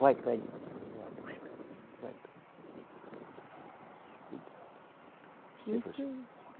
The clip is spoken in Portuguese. Vai para ali, eu vou a busca. (sussurro)